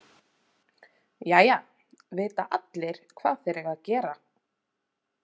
Jæja, vita allir hvað þeir eiga að gera?